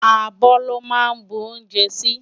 Abò lò má nbú oúnjè si